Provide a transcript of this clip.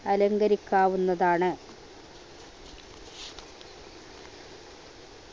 അലങ്കരിക്കാവുന്നതാണ്